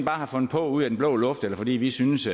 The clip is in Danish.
har fundet på ud af den blå luft eller fordi vi synes